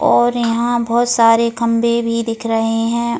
और यहां बहुत सारे खंबे भी दिख रहे हैं ।